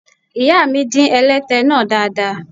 Ìyáàmi dín ẹlẹ́tẹ náà dáadáa.